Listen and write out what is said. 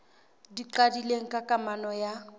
di qadileng ka kamano ya